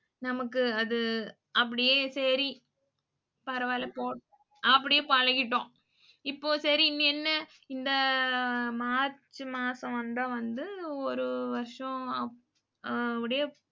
நமக்கு அது அப்டியே சரி பரவால போட் அப்படியே பழகிட்டோம். இப்போ சரி இனி என்ன இந்த மார்ச் மாசம் வந்தா வந்து ஒரு வருஷம் அ முடிய